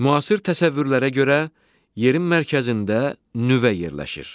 Müasir təsəvvürlərə görə yerin mərkəzində nüvə yerləşir.